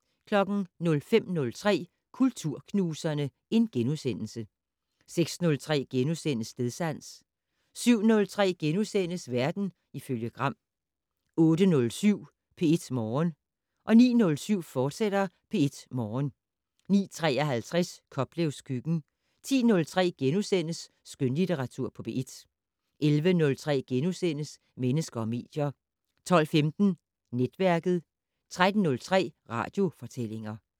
05:03: Kulturknuserne * 06:03: Stedsans * 07:03: Verden ifølge Gram * 08:07: P1 Morgen 09:07: P1 Morgen, fortsat 09:53: Koplevs køkken 10:03: Skønlitteratur på P1 * 11:03: Mennesker og medier * 12:15: Netværket 13:03: Radiofortællinger